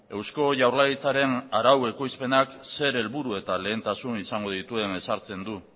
eusko jaurlaritzaren arau ekoizpenak zer helburu eta lehentasuna izango dituen ezartzen du